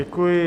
Děkuji.